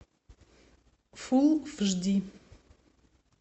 фулл эйч ди